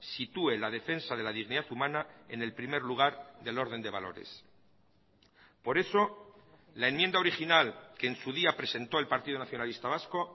sitúe la defensa de la dignidad humana en el primer lugar del orden de valores por eso la enmienda original que en su día presentó el partido nacionalista vasco